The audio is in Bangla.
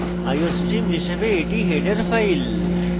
iostream হিসাবে এটি header file